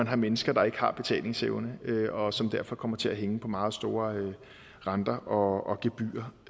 er mennesker der ikke har betalingsevne og som derfor kommer til at hænge på meget store renter og gebyrer